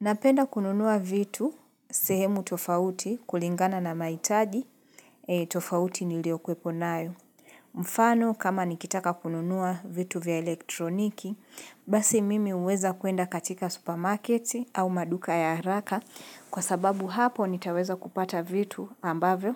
Napenda kununua vitu sehemu tofauti kulingana na mahitaji tofauti niliokuwepo nayo. Mfano kama nikitaka kununua vitu vya elektroniki, basi mimi huweza kuenda katika supermarket au maduka ya haraka kwa sababu hapo nitaweza kupata vitu ambavyo